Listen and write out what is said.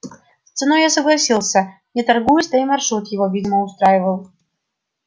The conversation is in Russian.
с ценой я согласился не торгуясь да и маршрут его видимо устраивал